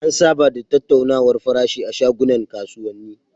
An saba da tattaunawar farashi a shagunan kasuwani.